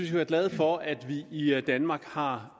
være glade for at vi i danmark har